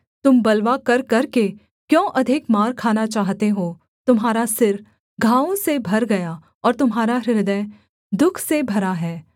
तुम बलवा कर करके क्यों अधिक मार खाना चाहते हो तुम्हारा सिर घावों से भर गया और तुम्हारा हृदय दुःख से भरा है